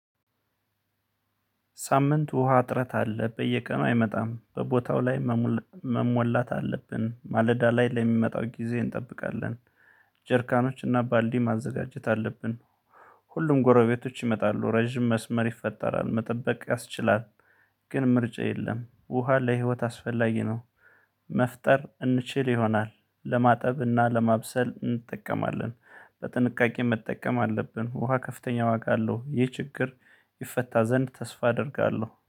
ሳምንት ውሃ ጥረት አለ በየቀኑ አይመጣም በቦታው ላይ መሞላት አለብን ማለዳ ላይ ለሚመጣው ጊዜ እንጠብቃለን። ጀርካኖችና ባልዲ ማዘጋጀት አለብን። ሁሉም ጎረቤቶች ይመጣሉ ረጅም መስመር ይፈጠራል መጠበቅ ያስችላል። ግን ምርጫ የለም ውሃ ለህይወት አስፈላጊ ነው። መፍጠር እንችል ይሆናል ለማጠብና ለማብሰል እንጠቀማለን። በጥንቃቄ መጠቀም አለብን። ውሃ ከፍተኛ ዋጋ አለው። ይህ ችግር ይፈታ ዘንድ ተስፋ አደርጋለሁ